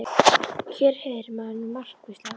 Hér heyrir maður nú margt, hvíslaði hún.